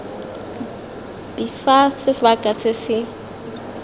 b fa sebaka se se